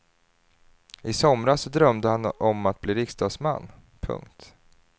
I somras drömde han om att bli riksdagsman. punkt